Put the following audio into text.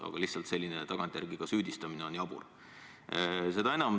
Aga lihtsalt selline tagantjärele süüdistamine on jabur.